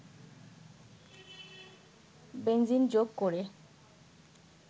benzene যোগ করে